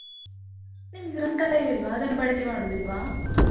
ನಿಮ್ಗ್ ಗ್ರಂಥಾಲಯ ಇಲ್ವಾ, ಅದನ್ನು ಬಳಕೆ ಮಾಡುದಿಲ್ವಾ?